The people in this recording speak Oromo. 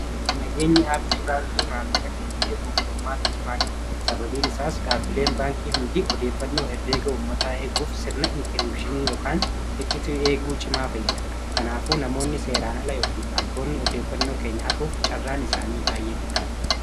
Nageenyi aappii baankii maallaqa keenya eeguuf furmaata cimaa qaba. Sababbiin isaas dhaabbileen baankii hundii odeeffannoo herreega uummataa eeguuf sirna inkiriipshinii yookaan icciitii eeguu cimaa fayyada. Kanaafuu namoonni seeraan ala yookiin hattoonni odeeffannoo keenya hatuuf carraan isaanii baay'ee dhiphaadha.